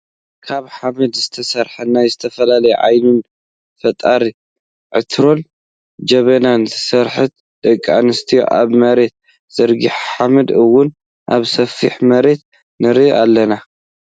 ካብ ሓመድ ዝተሰርሐ ናይ ዝተፈላለዩ ዓይነት ፈጠራ ዕትሮን ጀበናን ስራሕቲ ደቂ ኣንስትዮ ኣብ መሬት ዘርጊሐን ሓመድ እውን ኣብ ሰፊሕ መሬት ንሪኦ ኣለና ።